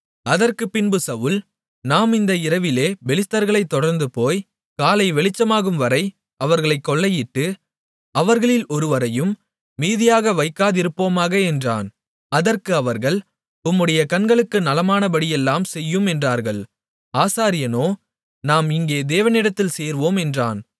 அதற்குப்பின்பு சவுல் நாம் இந்த இரவிலே பெலிஸ்தர்களைத் தொடர்ந்துபோய் காலை வெளிச்சமாகும் வரை அவர்களைக் கொள்ளையிட்டு அவர்களில் ஒருவரையும் மீதியாக வைக்காதிருப்போமாக என்றான் அதற்கு அவர்கள் உம்முடைய கண்களுக்கு நலமானபடியெல்லாம் செய்யும் என்றார்கள் ஆசாரியனோ நாம் இங்கே தேவனிடத்தில் சேர்வோம் என்றான்